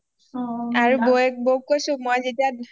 আৰু বৌয়ে বৌক কৈছোঁ মই যেতিয়া